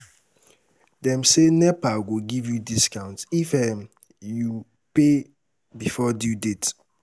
Dem say, NEPA go give you discount if um you pay before due date.